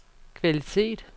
kvalitet